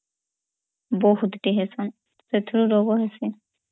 ବହୁତ୍ ଟେହସନ୍ ସେଥିରୁ ରୋଗୋ ବି ହୁଏ